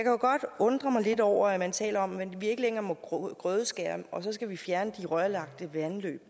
jo godt undre mig lidt over at man taler om at vi ikke længere må grødeskære og så skal vi fjerne de rørlagte vandløb